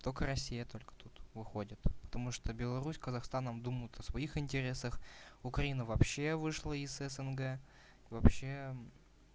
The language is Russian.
только россия только тут выходит потому что беларусь с казахстаном думают о своих интересах украина вообще вышла из снг вообще